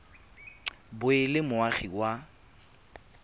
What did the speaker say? bo e le moagi wa